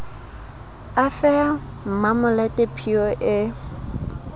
a fe mmamolete phiyo e